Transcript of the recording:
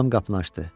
Anam qapını açdı.